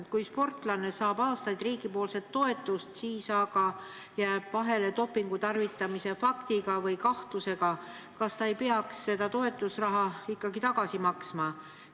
Kui sportlane saab aastaid riigipoolset toetust, siis aga jääb vahele dopingu tarvitamise faktiga või kahtlusega, kas ta ei peaks toetusraha ikkagi tagasi maksma?